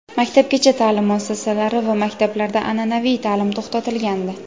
maktabgacha ta’lim muassasalari va maktablarda an’anaviy ta’lim to‘xtatilgandi.